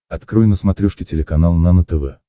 открой на смотрешке телеканал нано тв